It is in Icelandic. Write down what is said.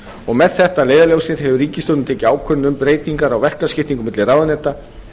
og með þetta að leiðarljósi hefur ríkisstjórnin tekið ákvörðun um breytingar á verkaskiptingu milli ráðuneyta